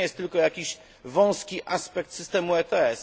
To nie jest tylko jakiś wąski aspekt systemu ETS.